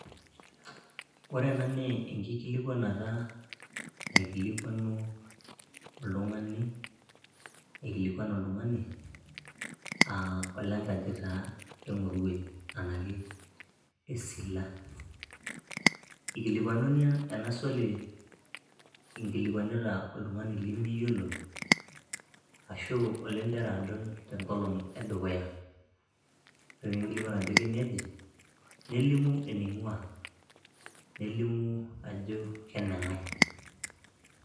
Ore ena naa enkikikwanata naikilikwanu oltungani , aikilikwan oltungani aa ole nkaji taa engoruoi anake e sila . Ikilikwanuni ena swali , inkilikwanita oltungani olimiyiolo ashu olintera adol tenkolong edukuya . Ore pinkilikwan ajo keniaji, nelimu eningwaa , nelimu ajo kenengae.